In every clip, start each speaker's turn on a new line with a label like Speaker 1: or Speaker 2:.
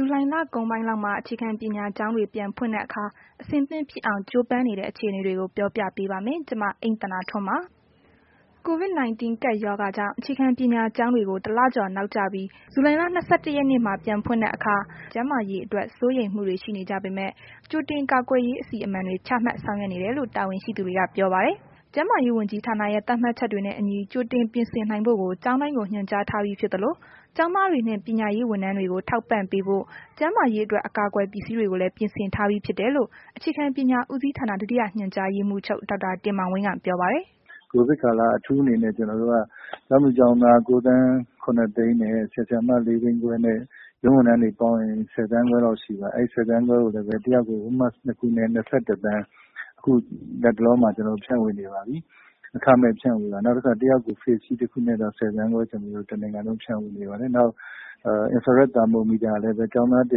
Speaker 1: ဇူလိုင်လကုန်ပိုင်းလောက်မှာ အခြေခံပညာကျောင်းတွေ ပြန်ဖွင့်တဲ့အခါ အဆင်သင့်ဖြစ်အောင် ကြိုးပမ်းနေတဲ့ အခြေအနေတွေကို ဗွီအိုအေမြန်မာပိုင်းသတင်းထောက် မအိမ့်သန္တာထွန်းက ပြောပြပေးပါမယ်။ COVID 19 ကပ်ရောဂါကြောင့် အခြေခံပညာကျောင်းတွေကို တစ်လကျော်နောက်ကျပြီး ဇူလိုင်လ ၂၁ ရက်နေ့မှာ ပြန်ဖွင့်တဲ့အခါ ကျန်းမာရေးအတွက် စိုးရိမ်မှုတွေ ရှိနေကြပေမဲ့ ကြိုတင်ကာကွယ်ရေး အစီအမံတွေ ချမှတ်ဆောင်ရွက်နေတယ်လို့ တာဝန်ရှိသူတွေက ပြောပါတယ်။ ကျန်းမာရေးဝန်ကြီးဌာနရဲ့ သတ်မှတ်ချက်တွေနဲ့ အညီ ကြိုတင်ပြင်ဆင်နိုင်ဖို့ကို ကျောင်းတိုင်းကို ညွှန်ကြားထားပြီးဖြစ်သလို ကျောင်းသားတွေနဲ့ ပညာရေးဝန်ထမ်းတွေကို ထောက်ပံ့ပေးဖို့ ကျန်းမာရေးအတွက် အကာအကွယ်ပစ္စည်းတွေကိုလည်း ပြင်ဆင်ထားပြီးဖြစ်တယ်လို့ အခြေခံပညာဦးစီးဌာန ဒုတိယညွှန်ကြားရေးမှူးချုပ် ဒေါက်တာ တင်မောင်ဝင်းက ပြောပါတယ်။
Speaker 2: “ကိုဗစ်ကာလ အထူးအနေနဲ့ ကျနော်တို့က ကျောင်းသူကျောင်းသား ၉,၇၀၀,၀၀၀ နှင့် ဆရာဆရာမ ၄၅၀,၀၀၀ နှင့် ရုံးဝန်ထမ်းတွေပေါင်းရင် ၁၀ သန်းခွဲလောက်ရှိပါတယ်။ အဲ့ဒီ ၁၀ သန်းခွဲကို တစ်ယောက်ကို အဝတ် Mask နှစ် ခုနဲ့ ၂၁ သန်း အခုလတ်တလောမှာ ကျနော်တို့ ဖြန့်ဝေနေပါပြီ။ အခမဲ့ဖြန့်ဝေတာပါ။ နောက်တခါ တစ်ယောက်ကို Face Shield တစ်ခုစီနဲ့ ၁၀ သန်းခွဲ တနိုင်ငံလုံး ဖြန့်ဝေနေပါတယ်။ နောက် သာမိုမီတာလည်း ကျောင်းသား ၁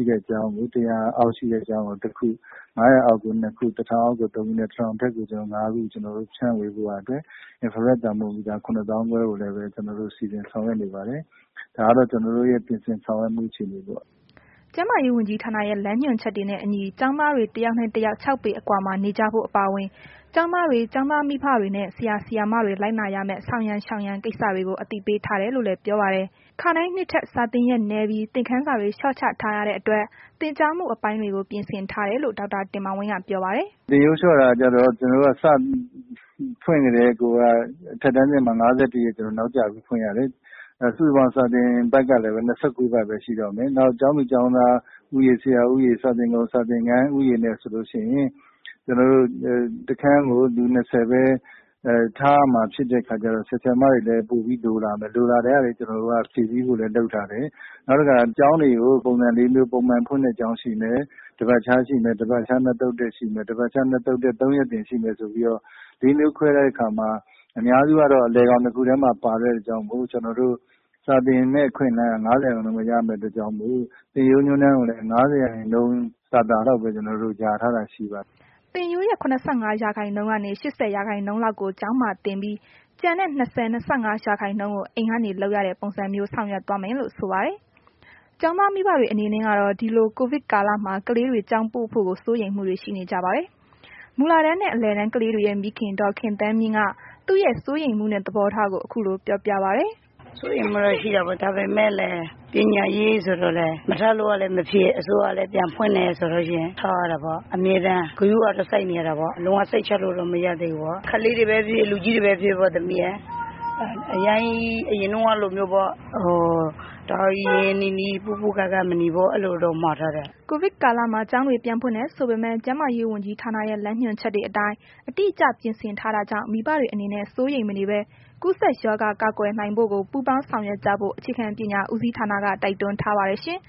Speaker 2: ၀၀ နဲ့ ၁၀၀ အောက် ရှိတဲ့ကျောင်းကို တစ်ခု ၅၀၀ အောက်ကို နှစ် ခုနှင့် ၁,၀၀၀ အောက်ကို ၃ ခုနဲ့ ၁,၀၀၀ နဲ့ အထက်ကို ၅ ခု ကျနော်တို့ ဖြန့်ဝေဖို့ရာအတွက် သာမိုမီတာ ၇၅,၀၀၀ ကိုလည်းပဲ ကျနော်တို့ စီစဉ်ဆောင်ရွက်နေပါတယ်။ ဒါကတော့ ကျနော်တို့ရဲ့ စီစဉ်ဆောင်ရွက်မှု အခြေအနေပေါ့။”
Speaker 1: ကျန်းမာရေးဝန်ကြီးဌာနရဲ့ လမ်းညွှန်ချက်တွေနဲ့ အညီ ကျောင်းသားတွေ တစ်ယောက်နဲ့ တစ်ယောက် ၆ ပေ အကွာမှာနေကြဖို့ အပါအဝင်ကျောင်းသားတွေ ကျောင်းသားမိဘတွေနဲ့ ဆရာ၊ ဆရာမတွေ လိုက်နာရမယ့် ဆောင်ရန်၊ ရှောင်ရန် ကိစ္စတွေကို အသိပေးထားတယ်လို့လည်း ပြောပါတယ်။ ခါတိုင်းနှစ်ထက် စာသင်ရက်နည်းပြီး သင်ခန်းစာတွေ လျှော့ချထားရတဲ့အတွက်လည်း သင်ကြားမှုအပိုင်းတွေကို ပြင်ဆင်ထားတယ်လို့ ဒေါက်တာတင်မောင်ဝင်းက ပြောပါတယ်
Speaker 2: ။ “သင်ရိုးလျှော့တာကျတော့ စပြီးဖွင့်ကတည်းကိုက အထက်တန်းအဆင့်မှာ ကျနော်တို့ ၅၁ ရက်နောက်ကျပြီးမှ ကျနော်တို့ ဖွင့်ရတယ်။ စုစုပေါင်း စာသင်ပတ်ကလည်း ကျနော်တို့က ၂၉ ပတ်ပဲ ရှိတော့မယ်။ နောက်ကျောင်းသူ ကျောင်းသားဦးရေ၊ ဆရာဦးရေ စာသင်ခုံ စာသင်ခန်းဦးရေနဲ့ ဆိုလို့ရှိရင် တစ်ခန်းကို လူ ၂၀ ပဲ ထားရမယ့်ခါကျတော့ ဆရာဆရာမတွေလည်း ပိုပြီးတော့ လိုလာမယ်။ လိုတာတွေကို ဖြည့်ဆည်းဖို့လည်း ကျနော်တို့ လုပ်ထားတယ်။ နောက်တခါ ကျောင်းတွေကို ပုံစံလေးမျိုး ပုံမှန်ဖွင့်တဲ့ ကျောင်းရှိမယ်။ တပတ်ခြားရှိမယ်၊ တပတ်ခြား နှစ်သုတ်တက်ရှိမယ်၊ တပတ်ခြား နှစ်သုတ်တက် သုံးရက်သင်ရှိမယ် ဆိုပြီးတော့ လေး မျိုးခွဲလိုက်တဲ့အခါမှာ အများစုကတော့ အလယ်ခေါင်နှစ်ခုထဲမှာ ပါတဲ့အတွက်ကြောင့်မို့လို့ စာသင်မယ့် အခွင့်အလမ်းက ၅၀ ရာခိုင်နှုန်းပဲ ရတဲ့အတွက်ကြောင့်မို့ သင်ရိုးညွှန်းတမ်းကိုလည်း ၅၀ ရာခိုင်နှုန်း သာသာလောက်ပဲ ယာထားတာရှိပါတယ်။
Speaker 1: ” သင်ရိုးရဲ့ ၇၅ ရာခိုင်နှုန်းကနေ ၈၀ ရာခိုင်နှုန်းလောက်ကို ကျောင်းမှာသင်ပြီး ကျန်တဲ့ ၂၀၊ ၂၅ ရာခိုင်နှုန်းကို အိမ်ကနေလုပ်ရတဲ့ ပုံစံမျိုးနဲ့ ဆောင်ရွက်သွားမယ်လို့ ဆိုပါတယ်။ ကျောင်းသား မိဘတွေအနေနဲ့ကတော့ ဒီလို ကိုဗစ်ကာလမှာ ကလေးတွေ ကျောင်းပို့ဖို့ကို စိုးရိမ်မှုတွေ ရှိနေကြပါတယ်။ မူလတန်းနဲ့ အလယ်တန်းကလေးတွေရဲ့ မိခင် ဒေါ်ခင်သန်းမြင့်က သူရဲ့ စိုးရိမ်မှုနဲ့ သဘောထားကို ခု
Speaker 3: လိုပြောပြပါတယ်။ “စိုးရိမ်မှုတော့ရှိတာပေါ့။ ဒါပေမဲ့ ပညာရေးဆိုတော့လည်း မထားလို့ကလည်းမဖြစ် အစိုးရကလည်း ပြန်ဖွင့်တယ်ဆိုလို့ရှိရင် ထားရတာပေါ့၊ စိုးရိမ်မှကတော့ အမြဲတမ်း ဂရုကတော့ စိုက်နေရတာပေါ့။ ကလေးတွေနဲ့ပဲဖြစ်ဖြစ် လူကြီးတွေနဲ့ပဲဖြစ်ဖြစ် အရမ်းကြီး အရင်တုန်းကလိုမျိုးတော့ တအားကြီးရင်းရင်းနှီးနှီး အနီးကပ်မနေဖို့တော့ မှာထားတယ်။
Speaker 1: ” ကိုဗစ်ကာလမှာ ကျောင်းတွေ ပြန်ဖွင့်တယ်ဆိုပေမဲ့ ကျန်းမာရေးဝန်ကြီးဌာနရဲ့ လမ်းညွှန်ချက်တွေ အတိုင်းအတိအကျ ပြင်ဆင်ထားတာကြောင့် မိဘတွေအနေနဲ့ စိုးရိမ်မနေဘဲ ကူးစက်ရောဂါက ကာကွယ်နိုင်ဖို့ကို ပူးပေါင်းဆောင်ရွက်ကြဖို့ အခြေခံပညာဦးစီးဌာနက တိုက်တွန်းထားပါတယ်ရှင်